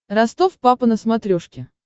ростов папа на смотрешке